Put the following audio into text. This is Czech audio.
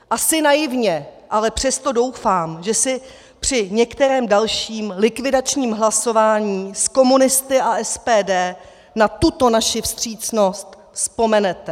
Asi naivně, ale přesto doufám, že si při některém dalším likvidačním hlasování s komunisty a SPD na tuto naši vstřícnost vzpomenete.